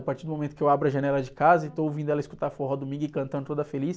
A partir do momento que eu abro a janela de casa e estou ouvindo ela escutar forró domingo e cantando toda feliz,